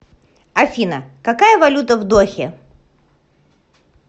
афина какая валюта в дохе